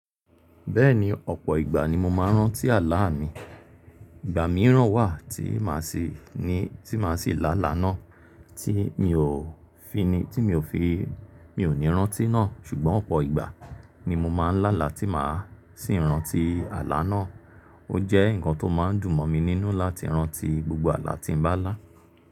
Bẹ́ẹ̀ni ọ̀pọ̀ ìgbà ni mo máa ń rántí àlá mi. Ìgbà mìíràn wà tí màá sì ní, tí màá sì lála náà tí mi ò fi ni, tí mi ò fi, mi ò ní rántí náà ṣùgbọ́n ọ̀pọ̀ ìgbà ni mo máa ń lála tí màá sì rántí àlá náà. Ó jẹ́ nǹkan tó máa ń dùn mọ́ mi nínú láti rántí gbogbo àlá tí m bá lá.